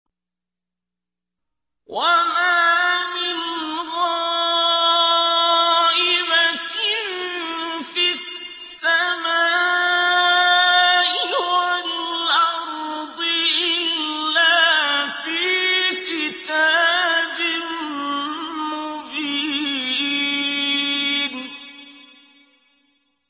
وَمَا مِنْ غَائِبَةٍ فِي السَّمَاءِ وَالْأَرْضِ إِلَّا فِي كِتَابٍ مُّبِينٍ